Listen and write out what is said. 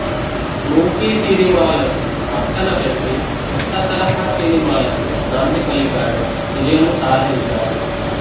మూససినిమాలకు ప్రక్కన పెట్టి కొత్త తరహా సినిమాలకు నాంది పలికాడు విజయమూ సాధించాడు